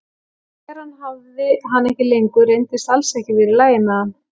Því þegar hann hafði hana ekki lengur reyndist alls ekki vera í lagi með hann.